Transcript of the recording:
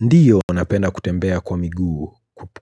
Ndio napenda kutembea kwa miguu